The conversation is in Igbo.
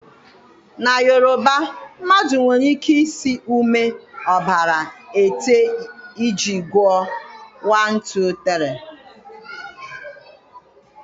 Na Yoruba, mmadụ nwere ike ịsị ume, ọbara, ẹta iji gụọ 1, 2, 3.